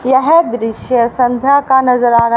यह दृश्य संध्या का नजर आ रहा--